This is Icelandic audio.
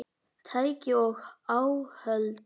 Tæki og áhöld